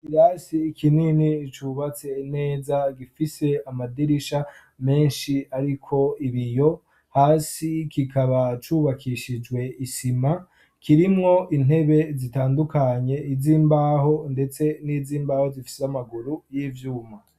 Ikirasi ikinini cubatse neza gifise amadirisha menshi ariko ibiyo hasi kikaba cubakishijwe isima kirimwo intebe zitandukanye, iz'imbaho ndetse n'iz'imbaho zifise amaguru y'ivyuma.